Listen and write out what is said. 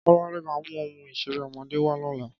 Kọ́ládé ma mu ohun ìṣeré ọmọdé wa lóla